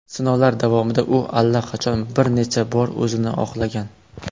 Sinovlar davomida u allaqachon bir necha bor o‘zini oqlagan.